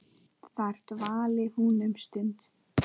Þar dvaldi hún um stund.